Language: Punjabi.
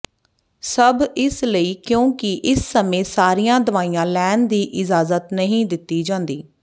ਸਭ ਇਸ ਲਈ ਕਿਉਂਕਿ ਇਸ ਸਮੇਂ ਸਾਰੀਆਂ ਦਵਾਈਆਂ ਲੈਣ ਦੀ ਇਜਾਜ਼ਤ ਨਹੀਂ ਦਿੱਤੀ ਜਾਂਦੀ